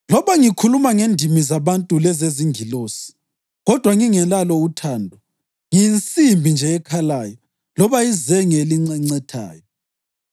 Loba ngikhuluma ngendimi zabantu lezezingilosi, kodwa ngingelalo uthando, ngiyinsimbi nje ekhalayo loba izenge elincencethayo.